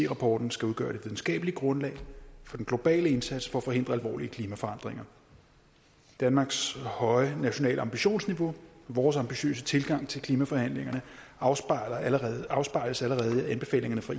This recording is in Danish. rapporten skal udgøre et videnskabeligt grundlag for den globale indsats for at forhindre alvorlige klimaforandringer danmarks høje nationale ambitionsniveau vores ambitiøse tilgang til klimaforhandlingerne afspejles afspejles allerede i anbefalingerne fra